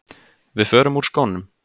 Við förum úr skónum.